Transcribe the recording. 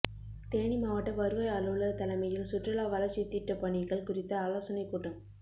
தேனி மாவட்ட வருவாய் அலுவலர் தலைமையில் சுற்றுலா வளர்ச்சித்திட்டப்பணிகள் குறித்த ஆலோசனைக்கூட்டம்